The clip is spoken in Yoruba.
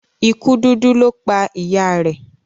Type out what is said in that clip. ikú dúdú lọ pá ìyá rẹ.